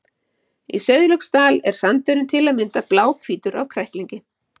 Í Sauðlauksdal er sandurinn til að mynda bláhvítur af kræklingi.